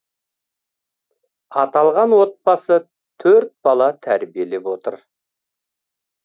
аталған отбасы төрт бала тәрбиелеп отыр